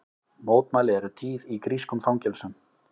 Mótmæli eru tíð í grískum fangelsum